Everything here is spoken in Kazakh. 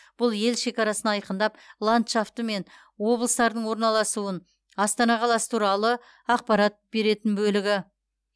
бұл ел шекарасын айқындап ландшафты мен облыстардың орналасуын астана қаласы туралы ақпарат беретін бөлігі